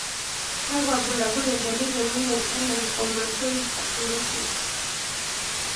Kakwa bulabul edoli temoyian e lymphomatoid papulosis?